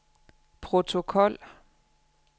protokol